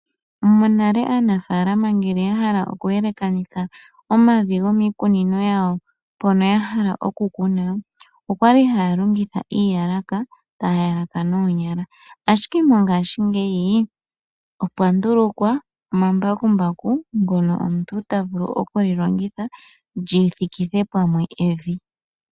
Monale aanafaalama ngele yahala okuyelekanitha omavi goomikunino yawo mpoka yahala okukuna okwali haya longitha uuyalaka, taya yalaka noonyala ashike mongaashingeyi opwandulukwa omambakumbaku ngoka omuntu tavulu okulilongitha lyithikithe pamwe evi.